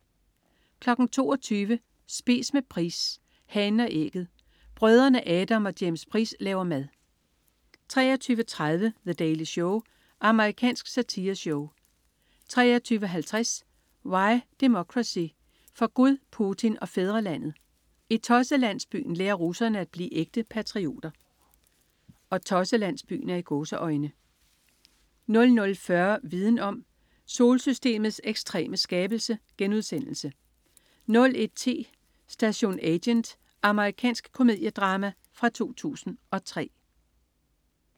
22.00 Spise med Price. "Hanen og ægget". Brødrene Adam og James Price laver mad 23.30 The Daily Show. Amerikansk satireshow 23.50 Why Democracy: For Gud, Putin og fædrelandet. I "Tosselandsbyen" lærer russerne at blive ægte patrioter 00.40 Viden om: Solsystemets ekstreme skabelse* 01.10 Station Agent. Amerikansk komediedrama fra 2003